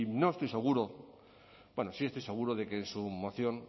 no estoy seguro bueno sí estoy seguro de que en su moción